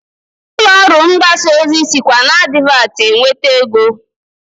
Ụlọọrụ mgbasa ozi sikwa n'advatị enweta ego